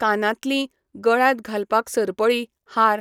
कानांतलीं, गळ्यांत घालपाक सरपळी, हार,